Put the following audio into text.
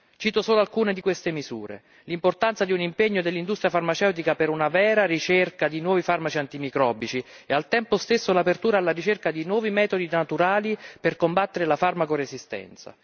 Cito solo alcune di queste misure l'importanza di un impegno dell'industria farmaceutica per una vera ricerca di nuovi farmaci antimicrobici e al tempo stesso l'apertura alla ricerca di nuovi metodi naturali per combattere la farmacoresistenza